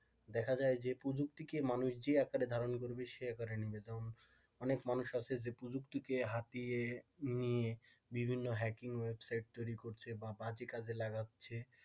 দেখা যায় যে প্রযুক্তিকে মানুষ যে আকারে ধারণ করবে সেই আকারে নেবে যেমন অনেক মানুষ আছে যে প্রযুক্তিকে হাতিয়ে নিয়ে বিভিন্ন রকমের হ্যাকিং ওয়েবসাইট করছে বা বাজে কাজে লাগাচ্ছে,